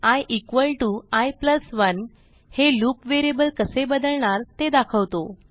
i i1 हे loop variable कसे बदलणार ते दाखवतो